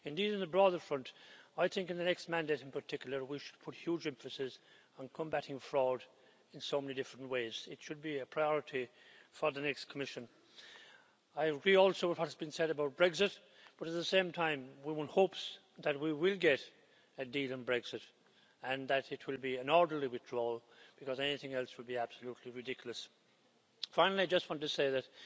Indeed, in the broader front, I think in the next mandate in particular, we should put huge emphasis on combating fraud in so many different ways. It should be a priority for the next Commission. I agree also with what has been said about Brexit, but at the same time, one hopes that we will get a deal on Brexit and that it will be an orderly withdrawal, because anything else would be absolutely ridiculous. Finally, I just want to say that